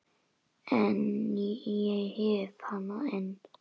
En ég hef hana enn.